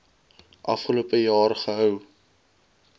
afgelope jaar gehou